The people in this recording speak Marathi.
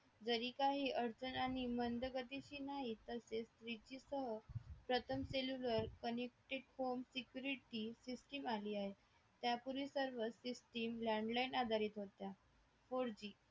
जरी काही अडचण हे मंद गतीची नाही तसेच विशेषता प्रथम cellular conducted form security system आली आहे त्यापूर्वी सर्वच system landline आधारित होत्या four G